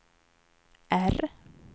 R